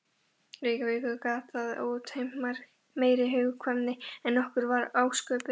Reykjavíkur gat það útheimt meiri hugkvæmni en okkur var ásköpuð.